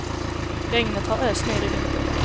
Regnet har öst ner i vinter.